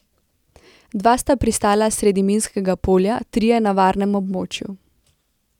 Dva sta pristala sredi minskega polja, trije na varnem območju.